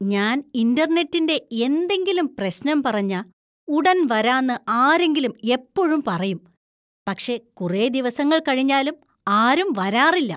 ഞാൻ ഇൻ്റർനെറ്റിന്‍റെ എന്തെങ്കിലും പ്രശ്നം പറഞ്ഞാ ഉടൻ വരാന്ന് ആരെങ്കിലും എപ്പോഴും പറയും, പക്ഷെ കുറെ ദിവസങ്ങൾ കഴിഞ്ഞാലും ആരും വരാറില്ല.